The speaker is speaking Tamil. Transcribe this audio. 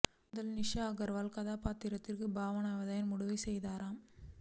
முதலில் நிஷா அகர்வால் கதாபாத்திரத்திற்கு பாவனாவை தான் முடிவு செய்தனராம்